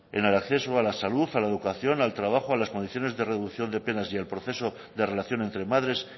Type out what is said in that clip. en el acceso a la salud a la educación al trabajo a las condiciones de reducción de penas y al proceso de relación entre madres